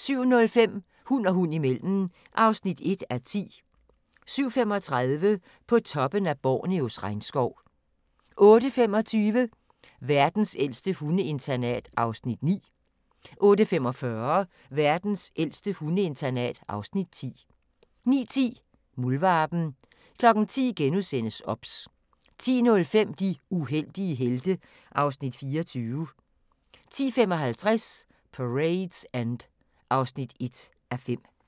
07:05: Hund og hund imellem (1:10) 07:35: På toppen af Borneos regnskov 08:25: Verdens ældste hundeinternat (Afs. 9) 08:45: Verdens ældste hundeinternat (Afs. 10) 09:10: Muldvarpen 10:00: OBS * 10:05: De uheldige helte (Afs. 24) 10:55: Parade's End (1:5)